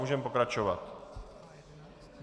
Můžeme pokračovat.